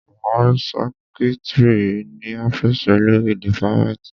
Máa rí sẹ́kítrì ní ọ́fìsì olórí dìpátmẹ́tì.